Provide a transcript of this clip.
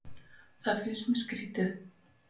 Það finnst mér skrýtið